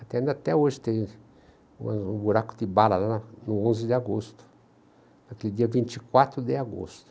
Tem, até hoje tem um um buraco de bala lá no no onze de agosto, naquele dia vinte e quatro de agosto.